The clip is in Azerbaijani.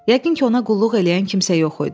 Yəqin ki, ona qulluq eləyən kimsə yox idi.